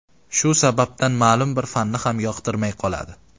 Shu sababdan ma’lum bir fanni ham yoqtirmay qoladi!